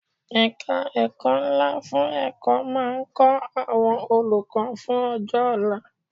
Ẹ̀ka ẹ̀kọ́ ńlá fún ẹ̀kọ́ máa ń kọ́ àwọn olùkọ́ fún ọjọ́ ọ̀la.